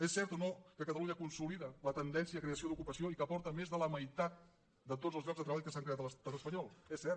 és cert o no que catalunya consolida la tendència de creació d’ocupació i que aporta més de la meitat de tots els llocs de treball que s’han creat a l’estat espanyol és cert